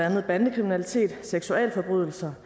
andet bandekriminalitet seksualforbrydelser